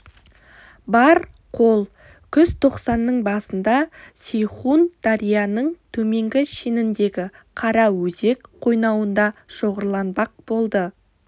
бар қол күзтоқсанның басында сейхун дарияның төменгі шеніндегі қараөзек қойнауында шоғырланбақ болды